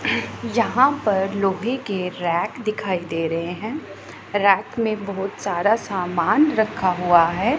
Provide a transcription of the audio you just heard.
यहां पर लोहे के रैक दिखाई दे रहे हैं रैक में बहुत सारा सामान रखा हुआ है।